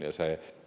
Nii see on.